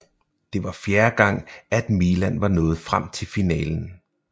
Det var fjerde gang at Milan var nået frem til finalen